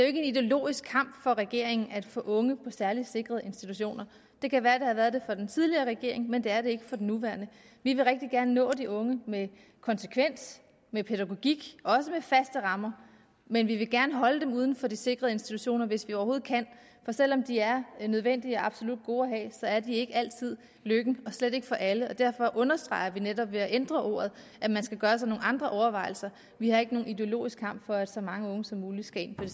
ikke en ideologisk kamp for regeringen at få unge ind på særlig sikrede institutioner det kan være det har været det for den tidligere regering men det er det ikke for den nuværende vil rigtig gerne nå de unge med konsekvens med pædagogik og med faste rammer men vi vil gerne holde dem uden for de sikrede institutioner hvis vi overhovedet kan for selv om de er nødvendige og absolut gode at have at de ikke altid lykken og slet ikke for alle derfor understreger vi netop ved at ændre ordet at man skal gøre sig nogle andre overvejelser vi har ikke nogen ideologisk kamp for at så mange unge som muligt skal ind på